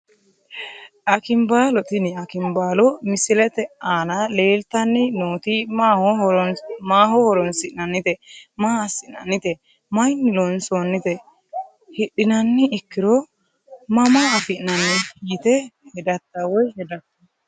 Akinbaalo tini akinbaalo misilete aana leeltani nooti maaho horonsinanite maa asinanite mayiini loonsoonote hidhinani ikkiro .ama afinani yite hedata woyi hedato.